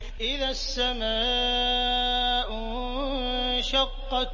إِذَا السَّمَاءُ انشَقَّتْ